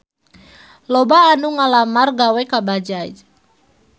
Loba anu ngalamar gawe ka Bajaj